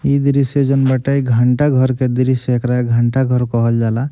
ये दृश्य जउन बाटे ई घंटाघर के दृश्य एकरा घंटाघर कहल जाला।